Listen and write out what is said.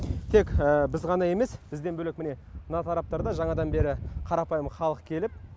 тек біз ғана емес бізден бөлек міне мына тараптарда жаңадан бері қарапайым халық келіп